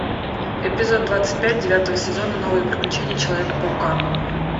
эпизод двадцать пять девятого сезона новые приключения человека паука